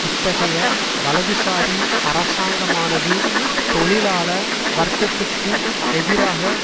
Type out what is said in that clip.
இத்தகைய வலதுசாரி அரசாங்கமானது தொழிலாள வர்க்கத்துக்கு எதிராக